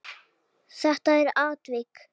Þetta er atvik.